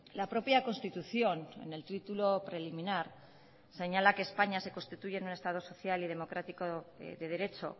la propia constitución en el título preliminar señala que españa se constituye en un estado social y democrático de derecho